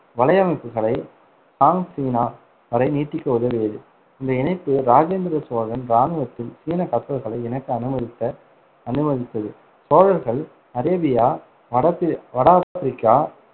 வலையமைப்புகளை Song சீனா வரை நீட்டிக்க உதவியது இந்த இணைப்பு ராஜேந்திர சோழன் இராணுவத்தில் சீன கப்பல்களை இணைக்க அனுமதித்த~ அனுமதித்தது. சோழர்கள் அரேபியா, வட பிரி~ வட ஆப்ரிக்கா,